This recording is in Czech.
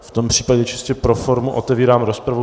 V tom případě čistě pro formu otevírám rozpravu.